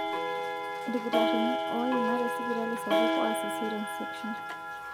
Ilkitarini oiima te sipitali sapuk oas caesarean section